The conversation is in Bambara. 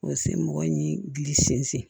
O se mɔgɔ ni gili sen